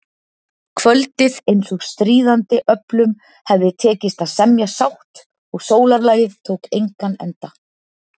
Kvöldið eins og stríðandi öflum hefði tekist að semja sátt og sólarlagið tók engan enda.